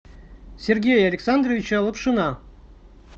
сергея александровича лапшина